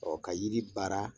Ɔɔ ka yiri baara